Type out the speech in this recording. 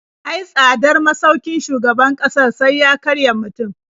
Ai tsadar masaukin shugaban ƙasar sai ya karya mutum.